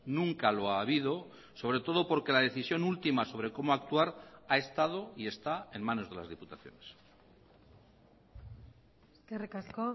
nunca lo ha habido sobre todo porque la decisión última sobre como actuar ha estado y está en manos de las diputaciones eskerrik asko